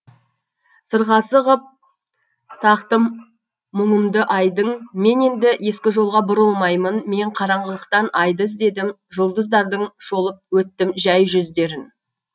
сырғасы ғып тақтым мұңымдыайдың мен енді ескі жолға бұрылмаймын мен қараңғылықтан айды іздедім жұлдыздардың шолып өттімжәй жүздерін